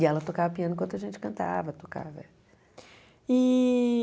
E ela tocava piano enquanto a gente cantava, tocava. E